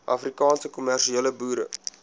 afrikaanse kommersiële boere